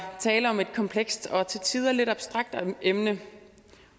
tale om et komplekst og til tider lidt abstrakt emne